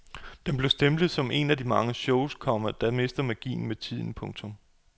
Den blev stemplet som en af den slags shows, komma der mister magien med tiden. punktum